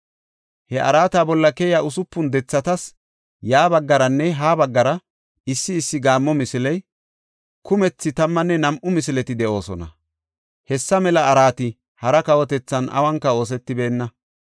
He araata bolla keyiya usupun dethatas ya baggaranne ha baggara issi issi gaammo misiley, kumethi tammanne nam7u misileti de7oosona. Hessa mela araati hara kawotethan awunka oosetibeenna.